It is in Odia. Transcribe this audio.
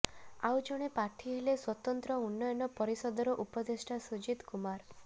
ଆଉ ଜଣେ ପ୍ରାର୍ଥୀ ହେଲେ ସ୍ୱତନ୍ତ୍ର ଉନ୍ନୟନ ପରିଷଦର ଉପଦେଷ୍ଟା ସୁଜିତ କୁମାର